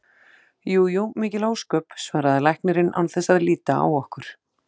Jú jú, mikil ósköp, svaraði læknirinn án þess að líta á okkur.